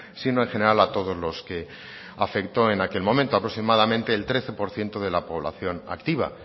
sino en general a todos los que afectó en aquel momento aproximadamente el trece por ciento de la población activa